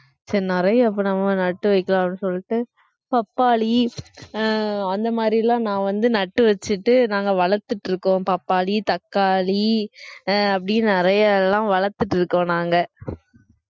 சரி நிறைய இப்ப நம்ம நட்டு வைக்கலாம் அப்படின்னு சொல்லிட்டு பப்பாளி அஹ் அந்த மாதிரி எல்லாம் நான் வந்து நட்டு வச்சுட்டு நாங்க வளர்த்துட்டு இருக்கோம் பப்பாளி, தக்காளி அஹ் அப்படி நிறைய எல்லாம் வளர்த்துட்டு இருக்கோம் நாங்க அஹ்